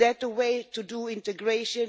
Is that the way to do integration?